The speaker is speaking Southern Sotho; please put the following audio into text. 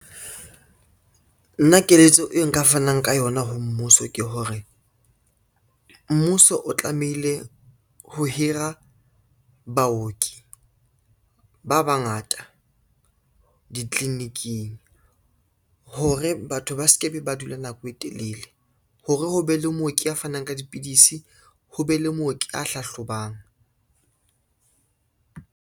Nna keletso e nka fanang ka yona ho mmuso ke hore, mmuso o tlamehile ho hira baoki ba bangata ditliliniking hore batho ba se ke be ba dula nako e telele, hore ho be le mooki a fanang ka dipidisi, ho be le mooki a hlahlobang.